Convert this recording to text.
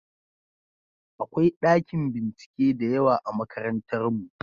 Akwai ɗakin bincike da yawa a makarantarmu.